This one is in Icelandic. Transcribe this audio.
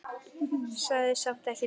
Sagði samt ekki neitt.